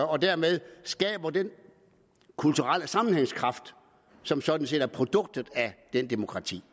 og dermed skaber den kulturelle sammenhængskraft som sådan set er produktet af det demokrati